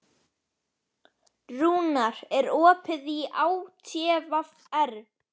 Rúnar, er opið í ÁTVR?